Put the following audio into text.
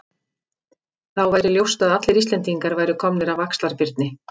Þá væri ljóst að allir Íslendingar væru komnir af Axlar-Birni.